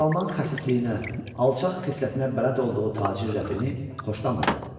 Hacı Salman xəsisliyinə, alçaq xislətinə bələd olduğu tacir Rəfini xoşlamırdı.